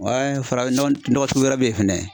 farafin nɔgɔ nɔgɔ sugu wɛrɛ bɛ ye fana.